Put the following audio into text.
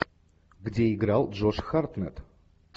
где играл джош хартнетт